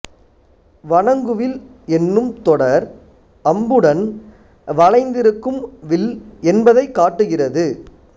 வணங்குவில் என்னும் தொடர் அம்புடன் வளைந்திருக்கும் வில் என்பதைக் காட்டுகிறது